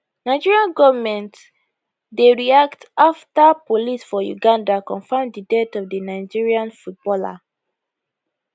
nigeria goment dey react afta police for uganda confam di death of di nigerian footballer